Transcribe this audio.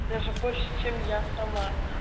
даже больше чем я сама